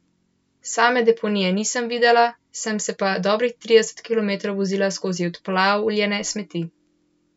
Same deponije nisem videla, sem se pa dobrih trideset kilometrov vozila skozi odplavljene smeti.